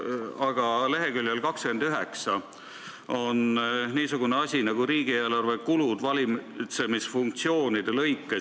Aga leheküljel 29 on niisugune asi nagu riigieelarve kulud valitsemisfunktsioonide lõikes.